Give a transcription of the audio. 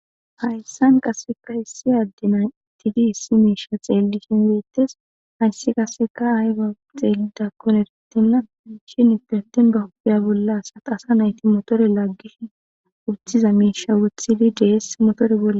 hayssan qasseka issi addena itti gi issi meisha xeellishin weettes hayssi qaseka ayga xeelidakkon erettinna shin itetin ba hobiya bolla asatasa nayti motore laaggishi wuthiza meisha wuthili dees motore bolle